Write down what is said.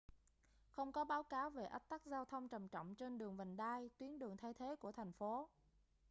không có báo cáo về ách tắc giao thông trầm trọng trên đường vành đai tuyến đường thay thế của thành phố